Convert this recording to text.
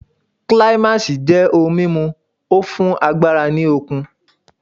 Climax' jẹ́ ohun mímu o fún ara ní okun